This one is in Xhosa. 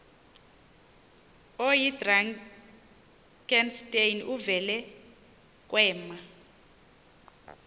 oyidrakenstein uvele kwema